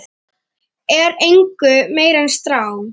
er engu meiri en strá.